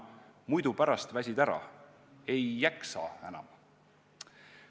Kuna pärast muidu väsid ära, ei jaksa enam.